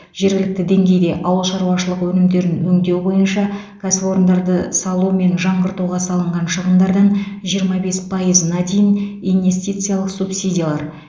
жергілікті деңгейде ауыл шаруашылығы өнімдерін өңдеу бойынша кәсіпорындары салу мен жаңғыртуға салынған шығындардан жиырма бес пайызына дейін инестициялық субсидиялар